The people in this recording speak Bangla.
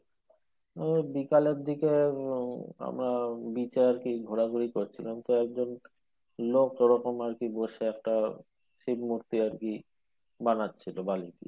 ওই বিকালের দিকে উম আমরা beach এ আরকি ঘোরাঘুরি করছিলাম তো একজন লোক এই রকম বসে আরকি একটা চিনত পেয়ে আরকি বানাচ্ছিল বালি দিয়ে